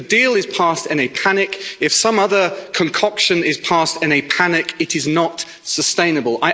If the deal is passed in a panic, if some other concoction is passed in a panic, it is not sustainable.